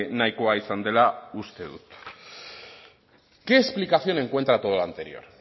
nahikoa izan dela uste dut qué explicación encuentra a todo lo anterior